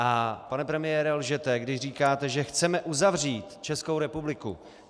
A pane premiére, lžete, když říkáte, že chceme uzavřít Českou republiku!